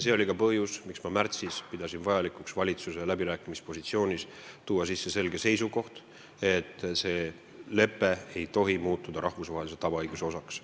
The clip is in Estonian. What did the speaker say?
See oli ka põhjus, miks ma märtsis pidasin vajalikuks valitsuse läbirääkimispositsioonidesse tuua sisse selge seisukoha, et see lepe ei tohi muutuda rahvusvahelise tavaõiguse osaks.